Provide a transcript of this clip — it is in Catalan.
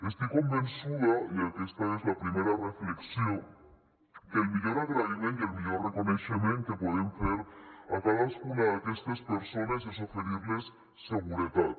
estic convençuda i aquesta és la primera reflexió que el millor agraïment i el millor reconeixement que podem fer a cadascuna d’aquestes persones és oferir los seguretat